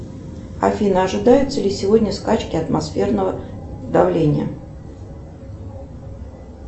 афина ожидаются ли сегодня скачки атмосферного давления